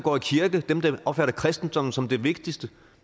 opfatter kristendommen som det vigtigste